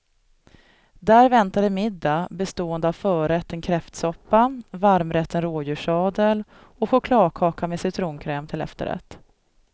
Där väntade middag bestående av förrätten kräftsoppa, varmrätten rådjurssadel och chokladkaka med citronkräm till efterrätt.